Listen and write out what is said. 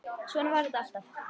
Svona var þetta alltaf.